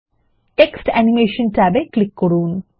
text animation ট্যাবে click করুন